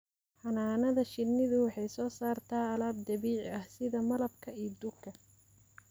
Xannaanada shinnidu waxay soo saartaa alaab dabiici ah sida malabka iyo dhuka.